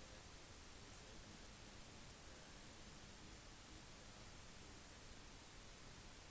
de fikk fra lyset